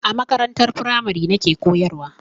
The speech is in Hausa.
A makarantar firamare nake koyarwa.